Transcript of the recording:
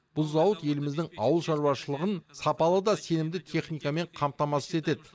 бұл зауыт еліміздің ауыл шараушылығын сапалы да сенімді техникамен қамтамасыз етеді